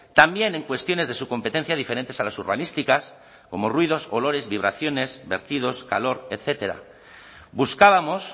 también en cuestiones de su competencia diferentes a las urbanísticas como ruidos olores vibraciones vertidos calor etcétera buscábamos